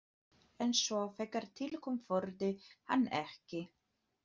En svo þegar til kom þorði hann ekki.